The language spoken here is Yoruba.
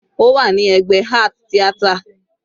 Ó wà ní ẹ̀gbẹ́ art theater.